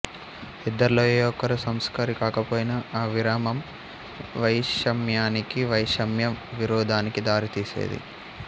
ఇద్దర్లో ఏ ఒక్కరు సంస్కారి కాకపోయినా ఆ విరామం వైషమ్యానికీ వైషమ్యం విరోధానికి దారితీసేది